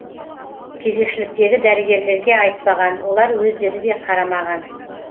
кезекшіліктегі дәрігерлерге айтпаған олар өздері де қарамаған